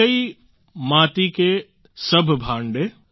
એકૈ માતી કે સભ ભાંડે